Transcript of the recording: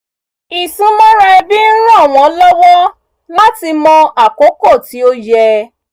ìsúnmọ́ra ẹbí ń ràn wọ́n lọwọ láti mọ àkókò tí ó yẹ